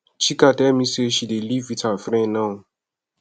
chika tell me say she dey live with her friend now